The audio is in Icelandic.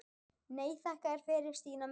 Nei, þakka þér fyrir Stína mín.